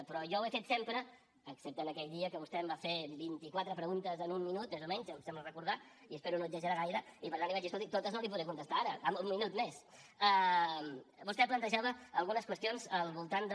però jo ho he fet sempre excepte aquell dia que vostè em va fer vint i quatre preguntes en un minut més o menys em sembla recordar i espero no exagerar gaire i per tant li vaig dir escolti totes no li podré contestar ara en un minut més vostè plantejava algunes qüestions al voltant de